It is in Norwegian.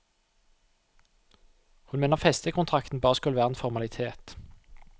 Hun mener festekontrakten bare skulle være en formalitet.